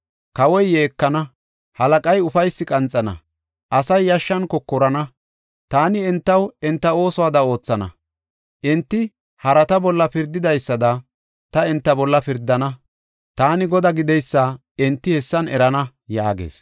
Kawoy yeekana; halaqay ufaysi qanxana; asay yashshan kokorana. Taani entaw enta oosuwada oothana; enti harata bolla pirdidaysada ta enta bolla pirdana. Taani Godaa gideysa enti hessan erana” yaagees.